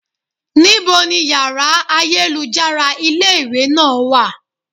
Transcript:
Ní bo ni yàrá ayélujára ilé ìwé náà wà?